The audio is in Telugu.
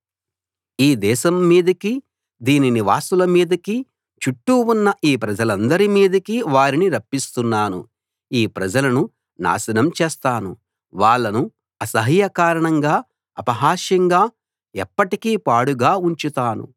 ఈ దేశం మీదికి దీని నివాసుల మీదికి చుట్టూ ఉన్న ఈ ప్రజలందరి మీదికీ వారిని రప్పిస్తున్నాను ఈ ప్రజలను నాశనం చేస్తాను వాళ్ళను అసహ్యకారణంగా అపహాస్యంగా ఎప్పటికి పాడుగా ఉంచుతాను